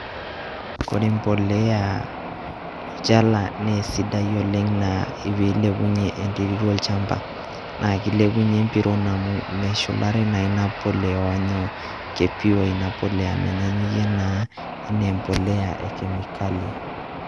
Kore embolea olchala nee sidai oleng' naa piilepunye enterit olchamba naake ilepunye embiron amu meshulare naa ina polea onyoo ke pure ina polea menyanyuke naa enee embolea e kemikali.